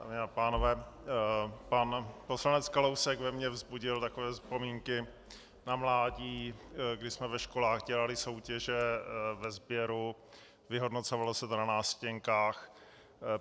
Dámy a pánové, pan poslanec Kalousek ve mně vzbudil takové vzpomínky na mládí, kdy jsme ve školách dělali soutěže ve sběru, vyhodnocovalo se to na nástěnkách.